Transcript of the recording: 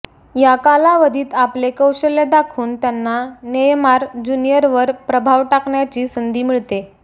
या कालावधीत आपले कौशल्य दाखवून त्यांना नेयमार ज्युनिअरवर प्रभाव टाकण्याची संधी मिळते